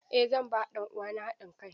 Eh zan ba ɗan uwana haɗin kai.